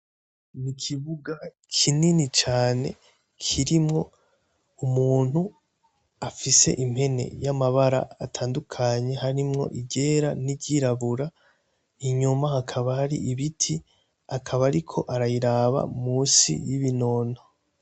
Ikibuga kinini cane kirimwo umuntu afise impene y'amabara atandukanye harimwo iryera n'iryirabura inyuma hakaba hari ibiti akaba ariko arayiraba munsi y'ibinono.